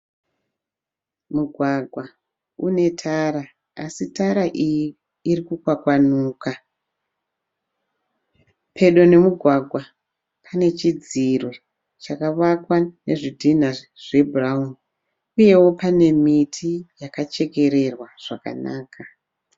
Mugwagwa une tara, asi tara iyi iri ku kwakwanuka. Pedo nemugwagwa pane chidziro chakavakwa nezvidhinha zve burauni , uyewo pane miti yakachekererwa zvakanaka.